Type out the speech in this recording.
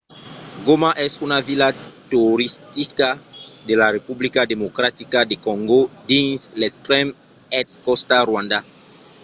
goma es una vila toristica de la republica democratica de còngo dins l'extrèm èst còsta rwanda